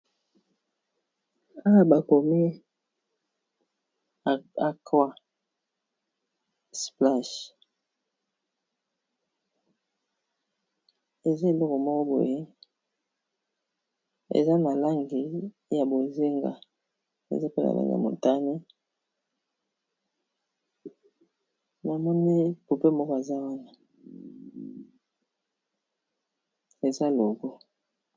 Awa bakomi aquasplash eza eloko moko boye eza nalangi ya bozinga eza pe na langi ya motani namoni pope moko aza wana eza logo.